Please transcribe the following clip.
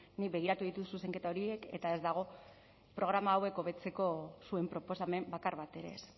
bueno nik begiratu ditut zuzenketa horiek eta ez dago programa hauek hobetzeko zuen proposamen bakar bat ere ez